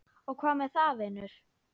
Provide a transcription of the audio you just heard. Og hvað með það, vinur?